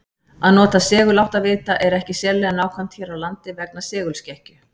Að nota seguláttavita er ekki sérlega nákvæmt hér á landi vegna segulskekkju.